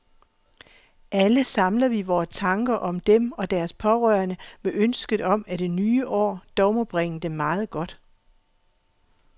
Alle samler vi vore tanker om dem og deres pårørende med ønsket om, at det nye år dog må bringe dem meget godt.